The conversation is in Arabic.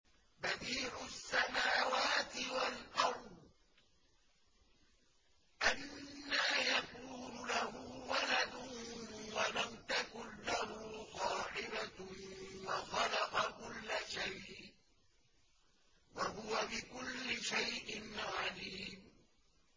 بَدِيعُ السَّمَاوَاتِ وَالْأَرْضِ ۖ أَنَّىٰ يَكُونُ لَهُ وَلَدٌ وَلَمْ تَكُن لَّهُ صَاحِبَةٌ ۖ وَخَلَقَ كُلَّ شَيْءٍ ۖ وَهُوَ بِكُلِّ شَيْءٍ عَلِيمٌ